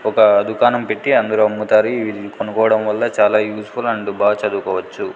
ఒక దుకాణం పెట్టి అందరూ అమ్ముతారు ఇవి కొనుకోవడం వల్ల చాలా యూస్ ఫుల్ అండ్ బాగా చదువుకోవచ్చు.